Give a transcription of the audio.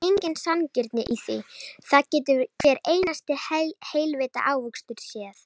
Það er engin sanngirni í því, það getur hver einasti heilvita ávöxtur séð.